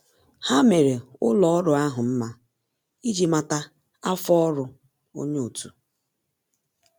Há mèrè ụ́lọ́ ọ́rụ́ ahụ́ mma iji màtá áfọ́ ọ́rụ́ onye otu.